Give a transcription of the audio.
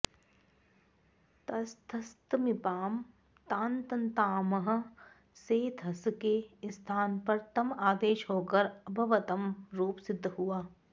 तस्थस्थमिपां तान्तन्तामः से थस् के स्थान पर तम् आदेश होकर अभवतम् रूप सिद्ध हुआ